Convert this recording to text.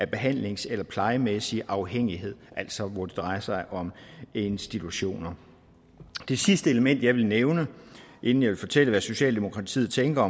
behandlings eller plejemæssig afhængighed altså hvor det drejer sig om institutioner det sidste element jeg vil nævne inden jeg vil fortælle hvad socialdemokratiet tænker